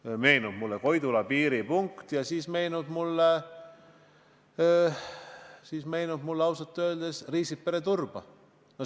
Mulle meenub Koidula piiripunkt ja siis meenub mulle veel Riisipere–Turba.